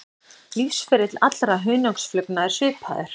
Lífsferill allra hunangsflugna er svipaður.